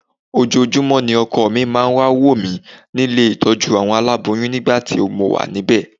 Ojoojúmọ́ ni ọkọ mi máa ń wá wò mí nílé ìtọ́jú àwọn aláboyún nígbà tí mo wà níbẹ̀